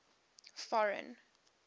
foreign